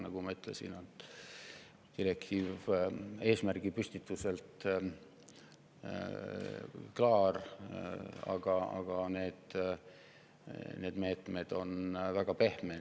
Nagu ma ütlesin, direktiiv on oma eesmärgi püstituselt klaar ja meetmed on väga pehmed.